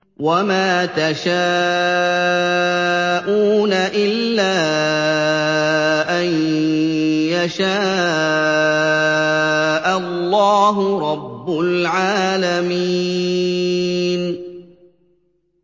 وَمَا تَشَاءُونَ إِلَّا أَن يَشَاءَ اللَّهُ رَبُّ الْعَالَمِينَ